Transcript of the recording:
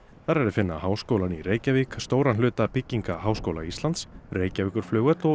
þar er að finna Háskólann í Reykjavík stóran hluta bygginga Háskóla Íslands Reykjavíkurflugvöll og